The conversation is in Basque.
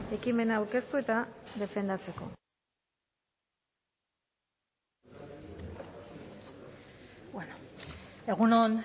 ekimena aurkeztu eta defendatzeko egun on